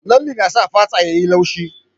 Lalle na sa fata yayi laushi